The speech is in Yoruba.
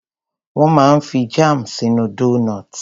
Wón máa ń fi jáàmù sínú doughnuts.